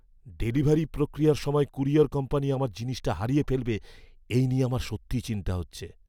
Delivery প্রক্রিয়ার সময় courier company আমার জিনিসটা হারিয়ে ফেলবে এই নিয়ে আমার সত্যিই চিন্তা হচ্ছে!